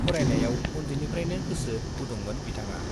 फरायनायाव उन्दैनिफ्राइनो गोसो गुदुंखामोन बिथाङा।